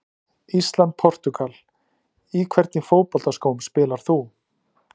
Ísland- Portúgal Í hvernig fótboltaskóm spilar þú?